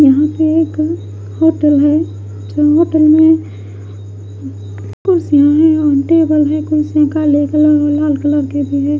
यहाँ पे एक होटल है जहाँ पर में कुर्सिया है और टेबल है कुर्सियों का लेवल अलग अलग लाल कलर के भी है।